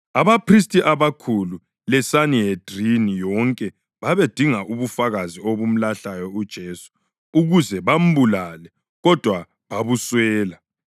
Abaphristi abakhulu leSanihedrini yonke babedinga ubufakazi obumlahlayo uJesu ukuze bambulale, kodwa babuswela.